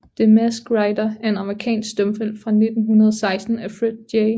The Masked Rider er en amerikansk stumfilm fra 1916 af Fred J